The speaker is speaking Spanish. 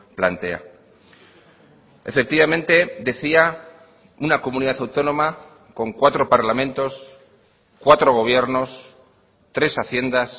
plantea efectivamente decía una comunidad autónoma con cuatro parlamentos cuatro gobiernos tres haciendas